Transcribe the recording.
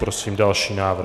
Prosím další návrh.